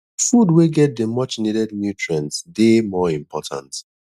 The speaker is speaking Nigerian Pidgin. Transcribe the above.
food wey get the much needed nutrients dey more important